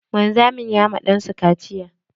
Wanzamin ya ma ɗansa kaciya.